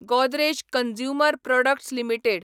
Godrej consumer products limited